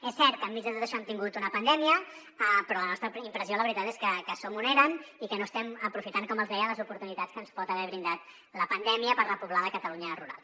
és cert que enmig de tot això hem tingut una pandèmia però la nostra impressió la veritat és que som on érem i que no estem aprofitant com els deia les oportunitats que ens pot haver brindat la pandèmia per repoblar la catalunya rural